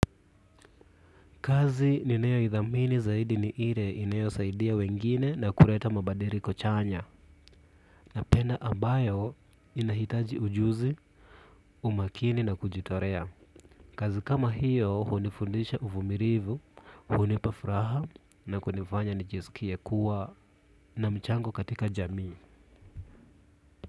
Kazi ninayoithamini zaidi ni ile inayosaidia wengine na kuleta mabadiliko chanya. Napenda ambayo inahitaji ujuzi, umakini na kujitolea. Kazi kama hiyo hunifundisha uvumilivu, hunipa furaha na kunifanya nijisikie kuwa na mchango katika jamii.